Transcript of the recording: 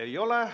Ei ole.